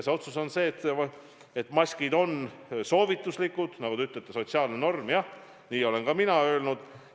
Otsus on see, et maskid on soovituslikud, nagu te ütlete, sotsiaalne norm – jah, nii olen ka mina öelnud.